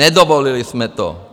Nedovolili jsme to!